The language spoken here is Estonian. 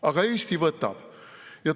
Aga Eesti võtab.